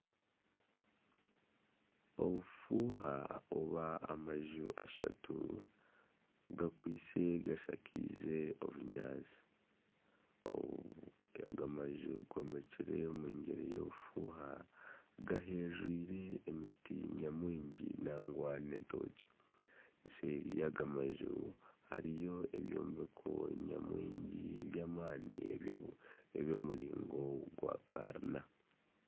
Obufuuha obw'amaju ashatu gakwaise gashakaize obunyaatsi, aga maju gombekire omu muringo gw'obufuuha. Gahereire emiti nyamwingi nangwa n'entookye. Eseeri y'aga maju hariyo ebyombeko nyamwingi by'amaani eby'omuringo gwa karina.